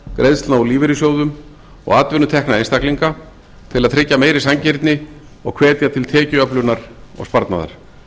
greiðslna úr lífeyrissjóðum og atvinnutekna einstaklinga til að tryggja meiri sanngirni og hvetja til tekjuöflunar og sparnaðar